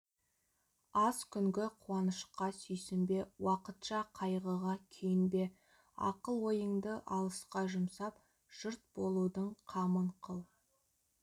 аз күнгі қуанышқа сүйсінбе уақытша қайғыға күйінбе ақыл-ойыңды алысқа жұмсап жұрт болудың қамын қыл